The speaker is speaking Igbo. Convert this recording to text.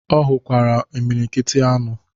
Ọ hụkwara imilikiti anụ ọhịa.